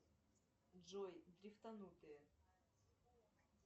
джой дрифтанутые